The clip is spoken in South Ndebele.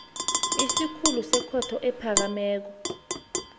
isikhulu sekhotho ephakemeko